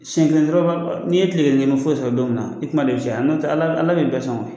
Siyen kelen dɔrɔnmalma n'i ye tile kelen kɛ, i ma foyi sɔrɔ don min na, i kuma de be caya nɔntɛ Ala Ala de bɛɛ sɔn.